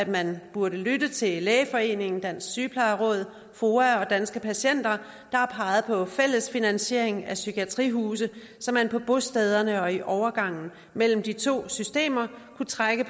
man burde lytte til lægeforeningen dansk sygeplejeråd foa og danske patienter der har peget på fælles finansiering af psykiatrihuse så man på bostæderne og i overgangen mellem de to systemer kunne trække